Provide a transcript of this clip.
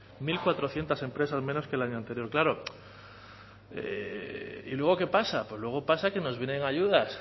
mil cuatrocientos empresas menos que el año anterior claro y luego qué pasa luego pasa que nos vienen ayudas